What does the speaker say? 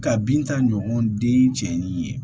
Ka bin ta ɲɔgɔn den cɛ ni ye